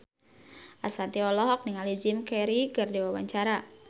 Ashanti olohok ningali Jim Carey keur diwawancara